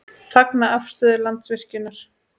Fagna afstöðu Landsvirkjunar